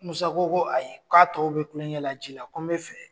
Musa ko ko ayi k ko'a tɔw bɛ kulonkɛ la ji la ko n bɛ fɛ.